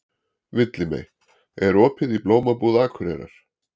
Villimey, er opið í Blómabúð Akureyrar?